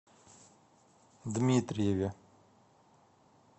дмитриеве